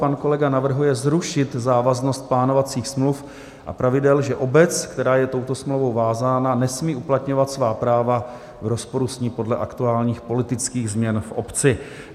Pan kolega navrhuje zrušit závaznost plánovacích smluv a pravidel, že obec, která je touto smlouvou vázána, nesmí uplatňovat svá práva v rozporu s ní podle aktuálních politických změn v obci.